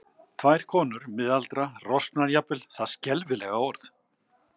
Tvær konur, miðaldra, rosknar jafnvel, það skelfilega orð.